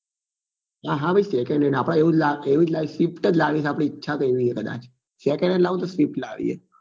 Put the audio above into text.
હા હા ભાઈ secondhand આપડે એવું જ લગ એવું જ લાવવું swift જ લાવવી છે આપડી ઈચ્છા તો એવી જ છે કદાચ secondhand લાવું તો swift લાવવી હે